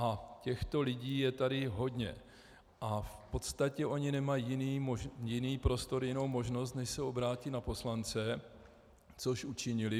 A těchto lidí je tady hodně a v podstatě oni nemají jiný prostor, jinou možnost, než se obrátit na poslance, což učinili.